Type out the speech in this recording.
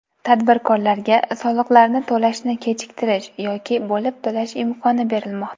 Tadbirkorlarga soliqlarni to‘lashni kechiktirish yoki bo‘lib to‘lash imkoni berilmoqda.